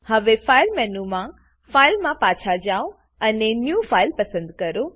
હવે ફાઈલ મેનુમાં ફાઇલ માં પાછા જાવ અને ન્યૂ ફાઇલ પસંદ કરો